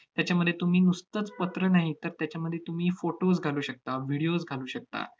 त्याच्यामध्ये तुम्ही नुसतंच पत्र नाही तर, त्याच्यामध्ये तुम्ही photos घालू शकता, videos घालू शकता,